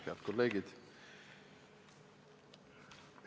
Head kolleegid!